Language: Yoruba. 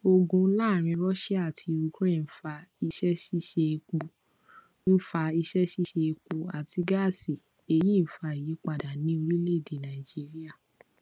ogun laarin russia ati ukraine nfa iṣẹṣiṣe epo nfa iṣẹṣiṣe epo ati gaasi eyi nfa iyipada ni orilede naijiria